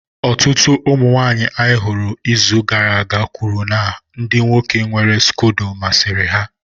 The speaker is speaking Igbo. Ọtụtụ ụmụ nwanyị anyị zutere n'izu gara aga kwuru na ndị nwoke nwere scodo masịrị ha